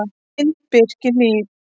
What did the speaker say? Mynd: Birkihlíð